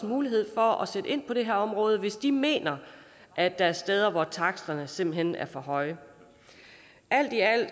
mulighed for at sætte ind på det her område hvis de mener at der er steder hvor taksterne simpelt hen er for høje alt i alt